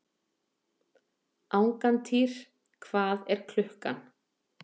Angantýr, hvað er klukkan?